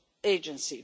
agency.